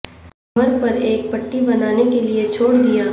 کمر پر ایک پٹی بنانے کے لئے چھوڑ دیا